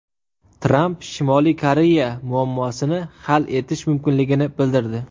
Tramp Shimoliy Koreya muammosini hal etish mumkinligini bildirdi.